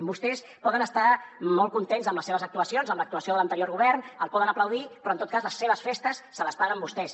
vostès poden estar molt contents amb les seves actuacions amb l’actuació de l’anterior govern el poden aplaudir però en tot cas les seves festes se les paguen vostès